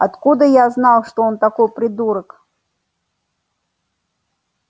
откуда я знал что он такой придурок